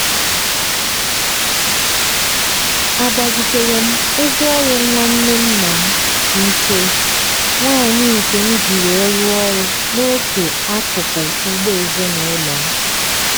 agbazitere m ngwaọrụ nwanne nna m nke nwaanyị nke m ji were rụọ ọrụ n'otu akụkụ ugbo ezinụlọ m.